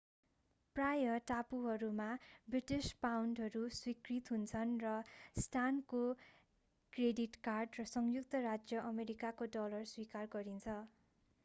प्राय टापुहरूमा ब्रिटिश पाउन्डहरू स्वीकृत हुन्छन् र स्टानको क्रेडिट कार्ड र संयुक्त राज्य अमेरिकाको डलर स्वीकार गरिन्छ